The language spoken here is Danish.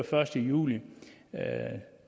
første juli